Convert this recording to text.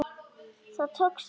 Það tókst vel.